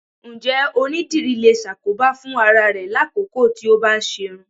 Ǹjẹ́ onídìrí lè ṣàkóbá fún ara rẹ lákòókò tí ó bá ń ṣerún?